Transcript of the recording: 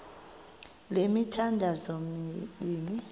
le mithandazo mibini